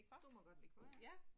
Du må godt lægge for ja